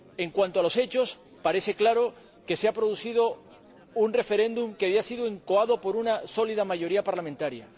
En cuanto a los hechos, parece claro que ha tenido lugar un referéndum que había sido incoado por una sólida mayoría parlamentaria.